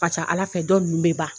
Ka ca ala fɛ dɔ ninnu bɛ ban